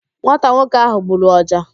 Nwata nwoke ahụ gburu ọja